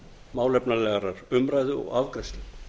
málefnalegrar umræðu og afgreiðslu